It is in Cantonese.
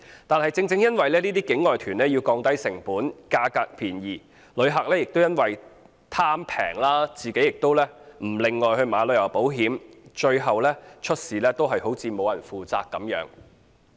但是，正正因為這些境外團要降低成本，價格要便宜，旅客亦因為貪便宜，自己亦不另購旅遊保險，最後出事便沒有人負責。